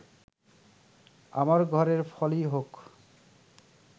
আমার ঘোরের ফলই হোক